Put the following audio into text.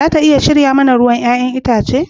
Za ta iya shirya mana ruwan 'ya'yan itace?